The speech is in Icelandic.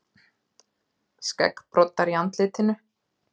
Skeggbroddar í andlitinu.